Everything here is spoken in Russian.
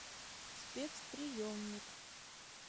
спецприемник